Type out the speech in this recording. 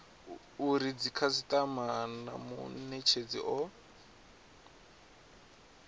uri dzikhasitama na munetshedzi o